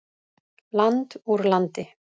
Land úr landi.